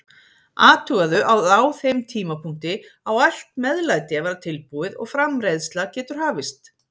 Athugaðu að á þeim tímapunkti á allt meðlæti að vera tilbúið og framreiðsla getur hafist.